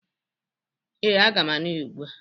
Ee, aga m aṅụ ya ugbụ a.